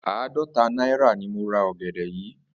Àádó̩ta náírà ni mo ra ò̩gè̩dè̩ yìí